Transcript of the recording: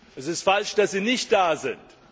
Es ist falsch, dass sie nicht da sind.